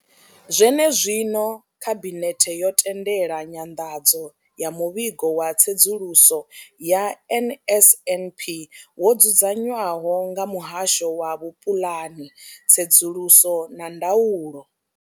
Zwenezwino, khabinethe yo tendela nyanḓadzo ya muvhigo wa tsedzuluso ya NSNP wo dzudzanywaho nga muhasho wa vhupulani, tsedzuluso na ndaulo.